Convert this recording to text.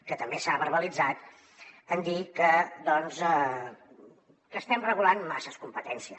que també s’ha verbalitzat en dir que estem regulant massa competències